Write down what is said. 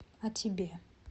а тебе